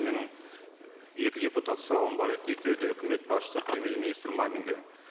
менің екі депутаттық сауалым бар еді екеуі де үкімет басшысы премьер министр маминге